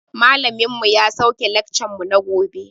Malamin mu ya sauke laccan mu na gobe